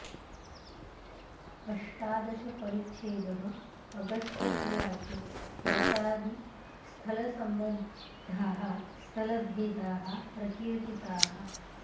अष्टादश परिच्छेदः अगस्त्य उवाच प्रसादि स्थलसम्बद्धाः स्थलभेदाः प्रकीर्तिताः